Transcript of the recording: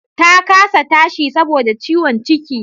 Ta kasa tashi saboda ciwon ciki